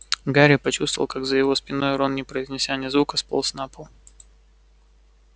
гарри почувствовал как за его спиной рон не произнеся ни звука сполз на пол